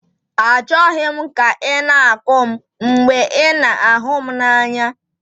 Achọghị m ka ị na-akụ m mgbe ị na-ahụ m n'anya.